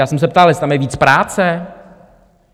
Já jsem se ptal, jestli tam je víc práce.